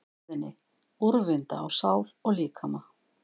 stöðinni, úrvinda á sál og líkama.